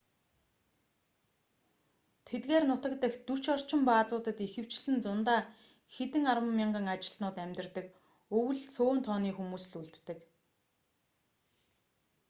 тэдгээр нутаг дахь дөч орчим баазуудад ихэвчлэн зундаа хэдэн арван мянган ажилтнууд амьдардаг өвөл цөөн тооны хүмүүс л үлддэг